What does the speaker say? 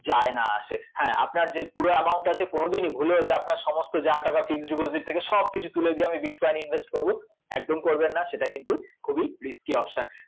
যায় না আসে, হ্যাঁ আপনার যে পুরো amount আছে কোনোদিনই ভুলেও যে আপনার সমস্ত যা টাকা fixed deposit থেকে সবকিছু তুলে দিয়ে আমি bitcoin এ invest করব, একদম করবেন না সেটা কিন্তু খুবই risky option